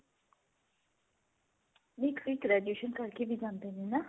ਨਈ ਕਈ graduation ਕਰਕੇ ਵੀ ਜਾਂਦੇ ਨੇ ਨਾ